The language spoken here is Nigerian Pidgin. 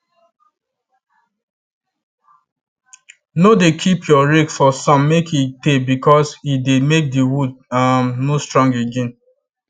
no dey keep your rake for sun make e teybecause e dey make the wood um no strong again